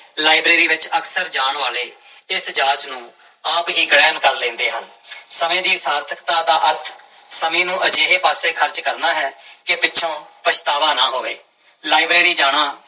library ਵਿੱਚ ਅਕਸਰ ਜਾਣ ਵਾਲੇ ਇਸ ਜਾਂਚ ਨੂੰ ਆਪ ਹੀ ਗ੍ਰਹਿਣ ਕਰ ਲੈਂਦੇ ਹਨ ਸਮੇਂ ਦੀ ਸਾਰਥਕਤਾ ਦਾ ਅਰਥ ਸਮੇਂ ਨੂੰ ਅਜਿਹੇ ਪਾਸੇ ਖ਼ਰਚ ਕਰਨਾ ਹੈ ਕਿ ਪਿੱਛੋਂ ਪਛਤਾਵਾ ਨਾ ਹੋਵੇ ਲਾਇਬ੍ਰੇਰੀ ਜਾਣਾ